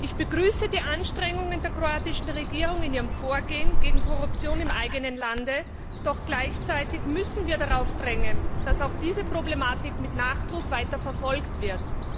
Ich begrüße die Anstrengungen der kroatischen Regierung in ihrem Vorgehen gegen Korruption im eigenen Land, doch gleichzeitig müssen wir darauf drängen, dass auch diese Problematik mit Nachdruck weiter verfolgt wird.